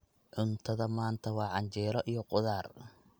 Cuntada maanta waa canjeero iyo khudaar.